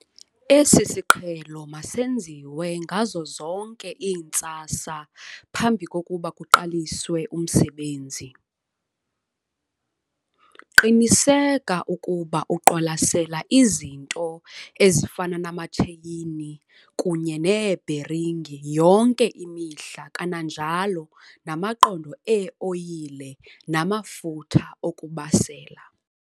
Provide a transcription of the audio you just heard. Esi siqhelo masenziwe ngazo zonke iintsasa phambi kokuba kuqaliswe umsebenzi. Qiniseka ukuba uqwalasela izinto ezifana namatsheyini kunye neebheringi yonke imihla kananjalo namaqondo ee-oyile namafutha okubasela.